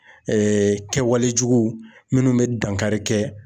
kɛwale juguw minnu bɛ dankari kɛ.